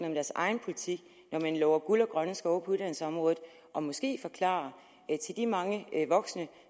om deres egen politik når de lover guld og grønne skove på uddannelsesområdet og måske give en forklaring til de mange voksne